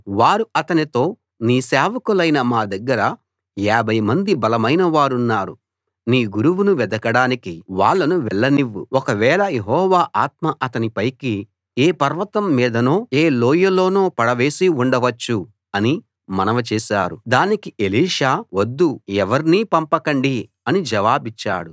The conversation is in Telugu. వారు అతనితో నీ సేవకులైన మా దగ్గర యాభై మంది బలమైన వారున్నారు నీ గురువును వెదకడానికి వాళ్ళను వెళ్ళనివ్వు ఒకవేళ యెహోవా ఆత్మ అతణ్ణి పైకి తీసుకు వెళ్ళి ఏ పర్వతం మీదనో ఏ లోయలోనో పడవేసి ఉండవచ్చు అని మనవి చేశారు దానికి ఎలీషా వద్దు ఎవర్నీ పంపకండి అని జవాబిచ్చాడు